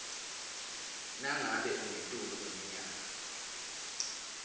nangabe ungetulu kweminyaka